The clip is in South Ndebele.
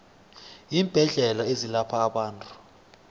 iimbedlela ezelapha abantu